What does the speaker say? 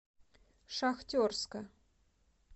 шахтерска